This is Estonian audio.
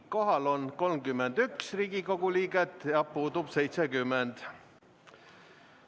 Kohal on 31 Riigikogu liiget ja puudub 70.